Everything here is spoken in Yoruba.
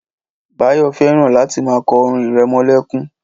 Báyọ̀ fẹ́ràn láti máa kọ orin irẹmọlẹ́kún